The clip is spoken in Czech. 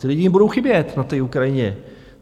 Ti lidi jim budou chybět na té Ukrajině.